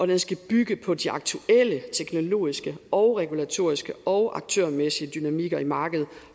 den skal bygge på de aktuelle teknologiske og regulatoriske og aktørmæssige dynamikker i markedet